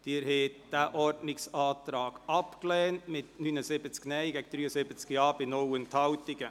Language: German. Sie haben diesen Ordnungsantrag abgelehnt mit 79 Nein- gegen 73 Ja-Stimmen bei 0 Enthaltungen.